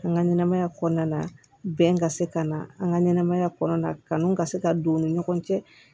An ka ɲɛnɛmaya kɔnɔna bɛn ka se ka na an ka ɲɛnɛmaya kɔnɔna kanuw ka se ka don u ni ɲɔgɔn cɛ